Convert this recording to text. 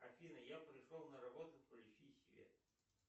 афина я пришел на работу включи свет